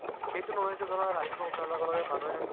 সেইটো নহয় যে ধৰা ৰাতিপুৱা উঠাৰ লগে লগে মানুহে